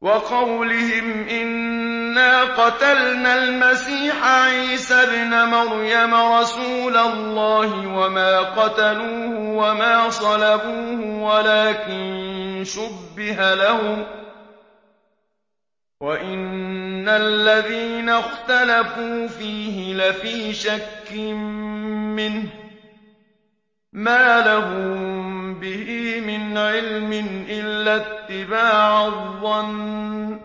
وَقَوْلِهِمْ إِنَّا قَتَلْنَا الْمَسِيحَ عِيسَى ابْنَ مَرْيَمَ رَسُولَ اللَّهِ وَمَا قَتَلُوهُ وَمَا صَلَبُوهُ وَلَٰكِن شُبِّهَ لَهُمْ ۚ وَإِنَّ الَّذِينَ اخْتَلَفُوا فِيهِ لَفِي شَكٍّ مِّنْهُ ۚ مَا لَهُم بِهِ مِنْ عِلْمٍ إِلَّا اتِّبَاعَ الظَّنِّ ۚ